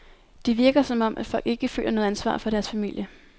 Det virker som om, at folk ikke føler noget ansvar for deres familie.